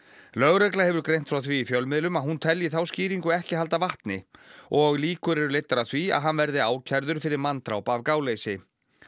lögregla hefur greint frá því í fjölmiðlum að hún telji þá skýringu ekki halda vatni og líkur er leiddar að því að hann verði ákærður fyrir manndráp af gáleysi